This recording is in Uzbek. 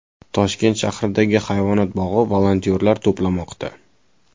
Toshkent shahridagi Hayvonot bog‘i volontyorlar to‘plamoqda.